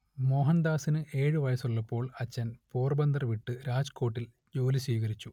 മോഹൻദാസിന് ഏഴു വയസ്സുള്ളപ്പോൾ അച്ഛൻ പോർബന്ദർ വിട്ട് രാജ്കോട്ടിൽ ജോലി സ്വീകരിച്ചു